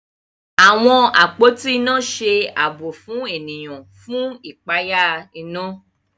Àwọn àpótí iná ṣe ààbò fún ènìyàn fún ipaya iná